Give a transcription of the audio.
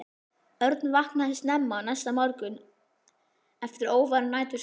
Örn vaknaði snemma næsta morgun eftir óværan nætursvefn.